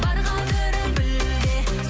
бар қадірін біл де